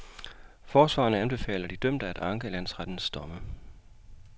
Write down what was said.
Forsvarerne anbefaler de dømte at anke landsrettens domme.